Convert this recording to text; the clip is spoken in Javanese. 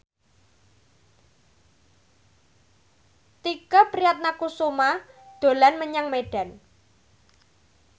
Tike Priatnakusuma dolan menyang Medan